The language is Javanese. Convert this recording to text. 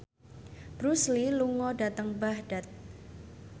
Bruce Lee lunga dhateng Baghdad